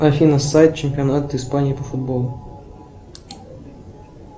афина сайт чемпионат испании по футболу